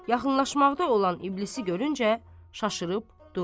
Yaxınlaşmaqda olan iblisi görüncə, şaşırıb durur.